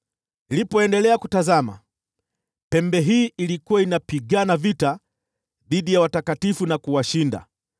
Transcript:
Nilipoendelea kutazama, pembe hii ilikuwa inapigana vita dhidi ya watakatifu na kuwashinda,